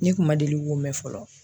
Ne kun ma deli k'o mɛ fɔlɔ.